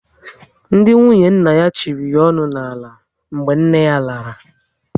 Ndị nwunye nna ya chịrị ya onu n'ala mgbe nne yá lara